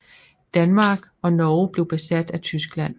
Danmark og Norge blev besat af Tyskland